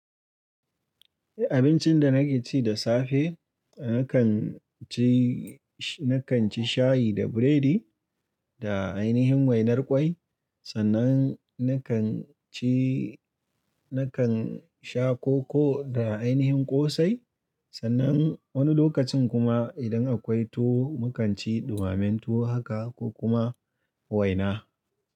Abincin da nake ci da safe, nakan ci, nakan ci shayi da biredi da ainihin wainar kwai, sannan nakan ci, nakan sha koko da ainihin ƙosai. Sannan wani lokacin kuma idan akwai tuwo mu kan ci ɗumamen tuwo haka ko kuma waina.